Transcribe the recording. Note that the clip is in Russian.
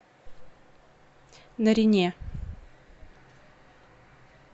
нарине